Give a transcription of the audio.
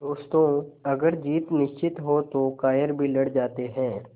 दोस्तों अगर जीत निश्चित हो तो कायर भी लड़ जाते हैं